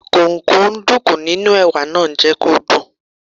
Kúkúǹdùkú inú Ẹ̀wà náà jẹ́ kí ó dùn.